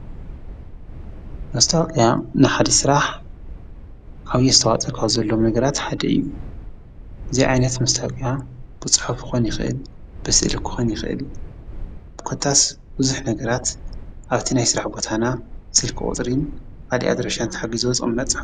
መታወቅያ ንሓደ ሥራሕ ዓብዪ አስተዋፅኦ ዘሎዋ ነገራት ሓደ እዩ። እዚ ዓይነት መስታወቅያ ብጽሕፍኾን ይኽእል ብስእሊ ክኾን ይኽእል ኾታስ ብቡዝሕ ነገራት ኣብቲ ናይ ሥራሕ ቦታና ስልክ ቁጽሪን ካልእ ኣድራሻን ተሓጊዞ ዝቅመጥ